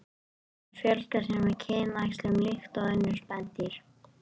Maðurinn fjölgar sér með kynæxlun líkt og önnur spendýr.